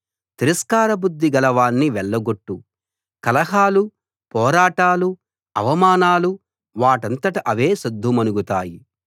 తిరస్కారబుద్ధి గలవాణ్ణి వెళ్ళగొట్టు కలహాలు పోరాటాలు అవమానాలు వాటంతట అవే సద్దు మణుగుతాయి